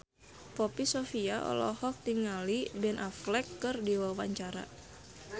Poppy Sovia olohok ningali Ben Affleck keur diwawancara